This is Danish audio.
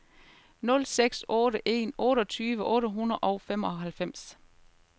nul seks otte en otteogtyve otte hundrede og femoghalvfems